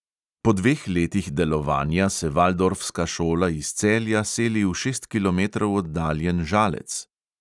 Po dveh letih delovanja se valdorfska šola iz celja seli v šest kilometrov oddaljen žalec.